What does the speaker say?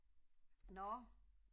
Nå